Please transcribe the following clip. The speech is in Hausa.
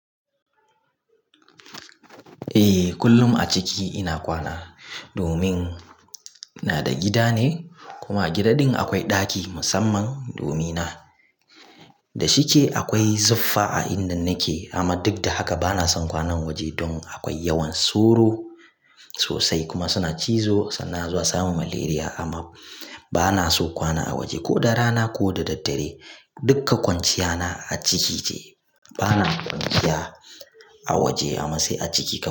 Eh, kullum a ciki ina kwana domin ina da gida ne kuma a gidan din akwai ɗaki musamman domin na. Da shike akwai zuffa a inda nake amma duk da haka bana son kwana waje don akwai yawan sauro sosai kuma suna cizo sannan za su samu malaria. Amma bana so kwana a waje ko da rana ko da daddare. Dukka kwanciya na a ciki ce. Bana kwanciya a waje amma sai a ciki.